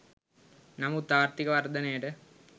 නමුත් ආර්ථික වර්ධනයට